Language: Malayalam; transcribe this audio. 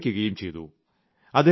ഇപ്പോൾ വിരമിക്കുകയും ചെയ്തു